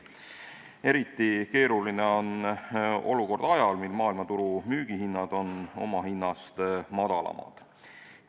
Eriti keeruline on olukord ajal, mil müügihinnad maailmaturul on omahinnast madalamad.